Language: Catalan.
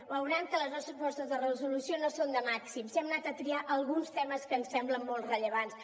veuran que les nostres propostes de resolució no són de màxims hem anat a triar alguns temes que ens semblen molt rellevants